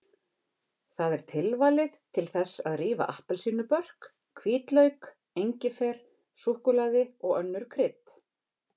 Það er tilvalið til þess að rífa appelsínubörk, hvítlauk, engifer, súkkulaði og önnur krydd.